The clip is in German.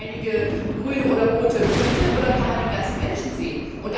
Nur einige grüne oder rote Punkte, oder kann man den ganzen Menschen sehen?